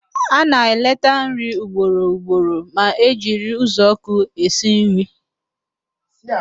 A na-eleta nri ugboro ugboro ma e jiri uzuọkụ esi nri